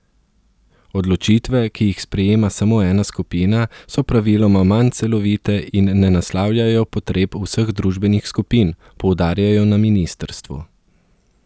Odločitve, ki jih sprejema samo ena skupina, so praviloma manj celovite in ne naslavljajo potreb vseh družbenih skupin, poudarjajo na ministrstvu.